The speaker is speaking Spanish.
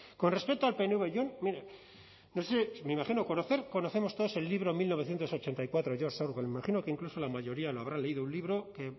con respecto al pnv yo mire no sé me imagino conocer conocemos todos el libro mil novecientos ochenta y cuatro george orwell me imagino que incluso la mayoría lo habrá leído un libro que